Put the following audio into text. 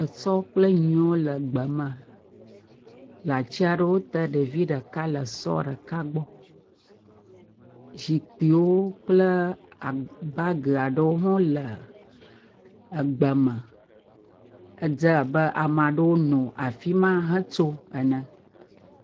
Esɔ kple nyiwo le gbeme le atsi aɖewo te. Ɖevi ɖeka le sɔ reka gbɔ. Zikpi ɖewo kple aa, baagi aɖewo hã wole egbeme. Edze abe ama ɖewo nɔ afi ma hetso ene.